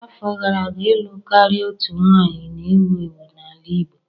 Afọ gara aga, ịlụ karịa otu nwanyị na-ewu ewu n'ala Igbo.